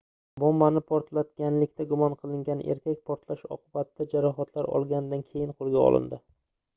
bombani portlatganlikda gumon qilingan erkak portlash oqibatida jarohatlar olganidan keyin qoʻlga olindi